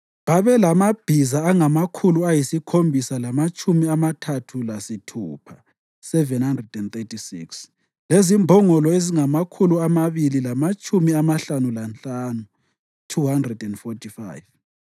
Babelamabhiza angamakhulu ayisikhombisa lamatshumi amathathu lasithupha (736), lezimbongolo ezingamakhulu amabili lamatshumi amahlanu lanhlanu (245),